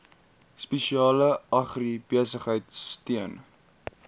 spesialis agribesigheid steun